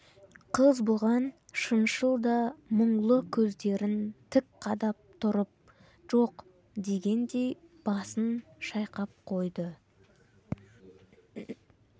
қыз бұған шыншыл да мұңлы көздерін тік қадап тұрып жоқ дегендей басын шайқап қойды